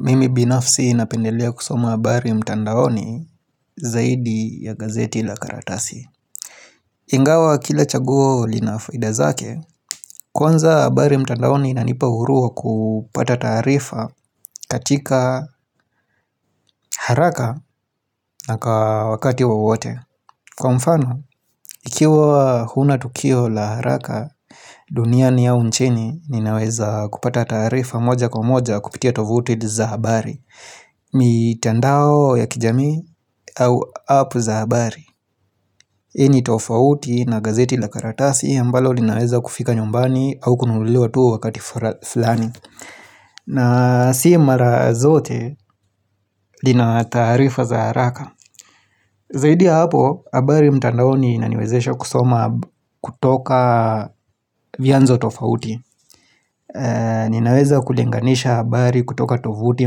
Mimi binafsi napendelea kusoma habari mtandaoni zaidi ya gazeti la karatasi Ingawa kila chaguo linafaida zake Kwanza abari mtandaoni inanipa huru wa kupata taarifa katika haraka na kawakati wowote Kwa mfano, ikiwa huna tukio la haraka duniani au nchini ninaweza kupata taarifa moja kwa moja kupitia tovuti za abari mitandao ya kijamii au apu za abari Ini tofauti na gazeti la karatasi ambalo linaweza kufika nyumbani au kununuliwatu wakati fra flani na si mara zote lina taarifa za haraka Zaidi ya hapo abari mtandao ni inaniwezesha kusoma kutoka vyanzo tofauti Ninaweza kulinganisha abari kutoka tovuti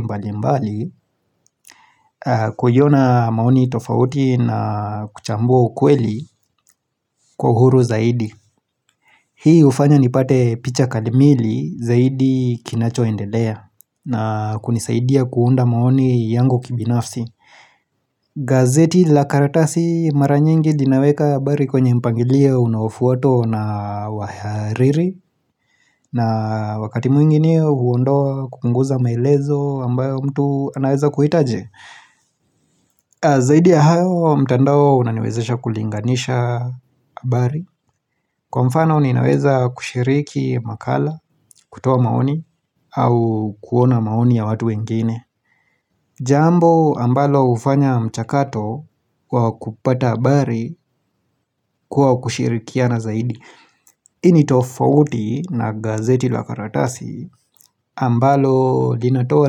mbali mbali kuiona maoni tofauti na kuchambua ukweli kwa huru zaidi Hii ufanya nipate picha kalimili zaidi kinacho endelea na kunisaidia kuunda maoni yangu kibinafsi gazeti la karatasi maranyingi linaweka abari kwenye mpangilio unaofuato na wahariri na wakati mwingine huondoa kupunguza maelezo ambayo mtu anaweza kuhitaje Zaidi ya hayo mtandao unaniwezesha kulinganisha abari. Kwa mfano ninaweza kushiriki makala, kutoa maoni, au kuona maoni ya watu wengine. Jambo ambalo ufanya mchakato kwa kupata abari kuwa kushirikiana zaidi. Ini tofauti na gazeti lakaratasi ambalo linatoa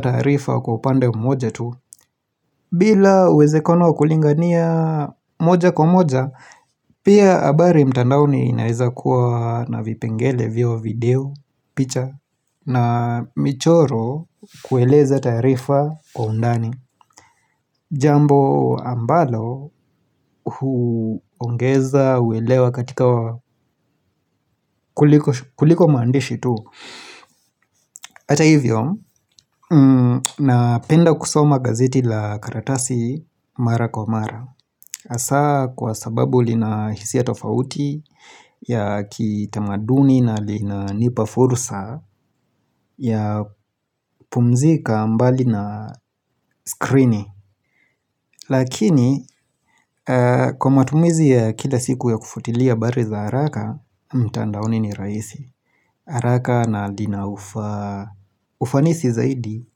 taarifa kwa upande mmoja tu bila uwezekano wa kulingania moja kwa moja Pia abari mtandaoni inaeza kuwa na vipengele vio video picha na michoro kueleza taarifa kwa undani Jambo ambalo huongeza uelewa katika kuliko maandishi tu Ata hivyo, na penda kusoma gazeti la karatasi mara kwa mara. Asa kwa sababu lina hisia tofauti ya kitamaduni na lina nipafursa ya pumzika mbali na skrini. Lakini, kwa matumizi ya kila siku ya kufuatilia abari za haraka, mtandaoni ni raisi. Haraka na lina ufa ufanisi zaidi.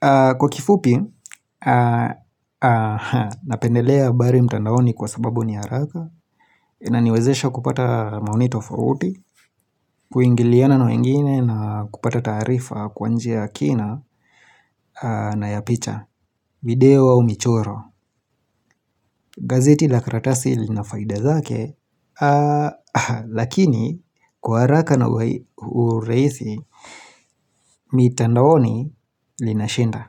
Kwa kifupi, napendelea abari mtandaoni kwa sababu ni haraka inaniwezesha kupata maonito fauti Kuingiliana na wengine na kupata taarifa kwanjia kina na yapicha video au michoro gazeti la karatasi linafaida zake Lakini kwa haraka na uai uraisi mitandaoni lina shinda.